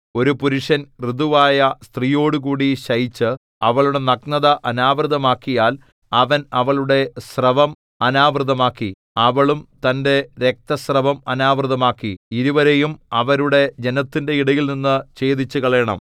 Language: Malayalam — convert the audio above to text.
ഒരു പുരുഷൻ ഋതുവായ സ്ത്രീയോടുകൂടി ശയിച്ച് അവളുടെ നഗ്നത അനാവൃതമാക്കിയാൽ അവൻ അവളുടെ സ്രവം അനാവൃതമാക്കി അവളും തന്റെ രക്തസ്രവം അനാവൃതമാക്കി ഇരുവരെയും അവരുടെ ജനത്തിന്റെ ഇടയിൽനിന്ന് ഛേദിച്ചുകളയേണം